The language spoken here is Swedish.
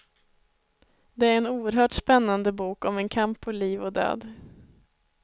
Det är en oerhört spännande bok om en kamp på liv och död.